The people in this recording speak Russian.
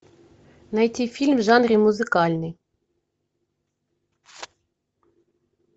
найти фильм в жанре музыкальный